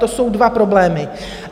To jsou dva problémy.